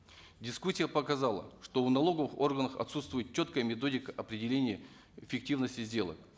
дискуссия показала что у налоговых органов отсутствует четкая методика определения фиктивности сделок